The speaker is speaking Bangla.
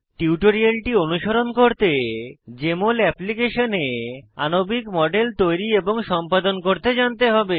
টিউটোরিয়ালটি অনুসরণ করতে জেএমএল অ্যাপ্লিকেশনে আণবিক মডেল তৈরী এবং সম্পাদন করতে জানতে হবে